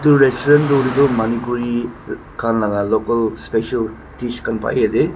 etu restaurant tu hole tu manipuri khan laga local special dish mangai ase.